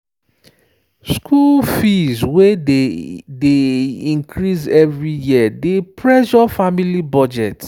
school fees wey dey dey increase every year dey pressure family budget.